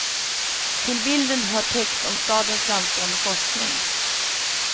Till bilden hör text om stadens framstående forskning.